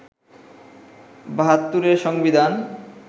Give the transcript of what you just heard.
৭২’র সংবিধান